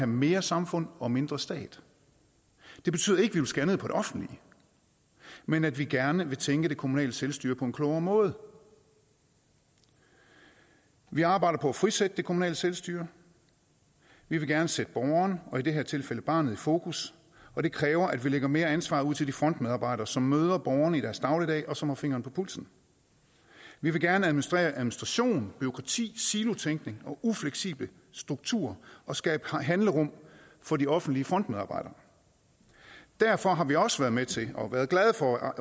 mere samfund og mindre stat det betyder ikke at vi vil skære ned på det offentlige men at vi gerne vil tænke det kommunale selvstyre på en klogere måde vi vi arbejder på at frisætte det kommunale selvstyre vi vil gerne sætte borgeren og i det her tilfælde barnet i fokus og det kræver at vi lægger mere ansvar ud til de frontmedarbejdere som møder borgerne i deres dagligdag og som har fingeren på pulsen vi vil gerne administrere administration bureaukrati silotænkning og ufleksible strukturer og skabe handlerum for de offentlige frontmedarbejdere derfor har vi også været med til og været glade for at